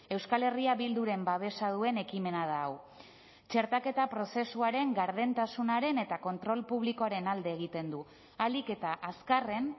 euskal herria bilduren babesa duen ekimena da hau txertaketa prozesuaren gardentasunaren eta kontrol publikoaren alde egiten du ahalik eta azkarren